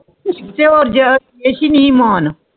ਅਸਹਿ ਨਹੀਂ ਮਾਨ